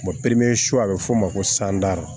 popilen a be f'o ma ko